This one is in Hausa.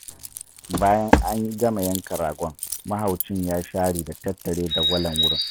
Bayan an gama yanka ragon, mahaucin ya share da tattare dagwalon wurin.